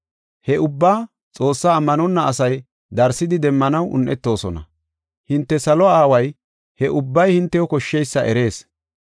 He ubbaa Xoossaa ammanonna asay darsidi demmanaw un7etoosona. Hinte salo aaway he ubbay hintew koshsheysa erees.